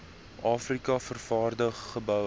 afrika vervaardig gebou